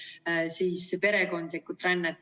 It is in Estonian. Perekondlikku rännet.